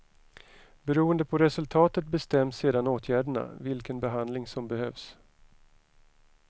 Beroende på resultatet bestäms sedan åtgärderna, vilken behandling som behövs.